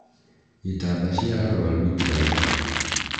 Itanda cĩa arũaru itiraigana